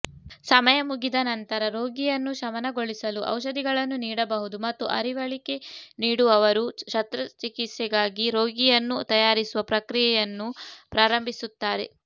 ಸಮಯ ಮುಗಿದ ನಂತರ ರೋಗಿಯನ್ನು ಶಮನಗೊಳಿಸಲು ಔಷಧಿಗಳನ್ನು ನೀಡಬಹುದು ಮತ್ತು ಅರಿವಳಿಕೆ ನೀಡುವವರು ಶಸ್ತ್ರಚಿಕಿತ್ಸೆಗಾಗಿ ರೋಗಿಯನ್ನು ತಯಾರಿಸುವ ಪ್ರಕ್ರಿಯೆಯನ್ನು ಪ್ರಾರಂಭಿಸುತ್ತಾರೆ